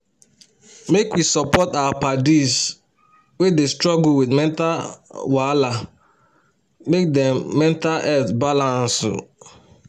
make we support our paddis wey dey struggle with mental wahala um make dem mental health balance um